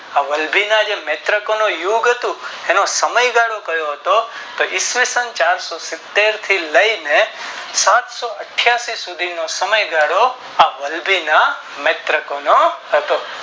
આ વલભી ના જે નેત્રોકોનું યદ્ધ હતું એનો સમય ગાળો કયો હતો તો ઇસવીસન ચારસો સીતેર થી લઈ ને સાતસો અઠિયાશી સુધી નો સમય ગાળો આ વલભીના નેત્રોકોનો હતો